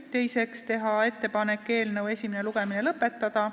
Teiseks, teha ettepanek eelnõu esimene lugemine lõpetada.